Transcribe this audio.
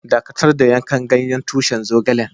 Dakatar da yanka ganyen tushin zogalen!